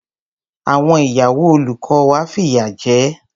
Àwọn ìyàwó olùkọ́ wa fìyà jẹ ẹ́.